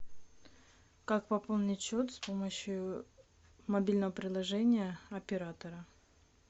как пополнить счет с помощью мобильного приложения оператора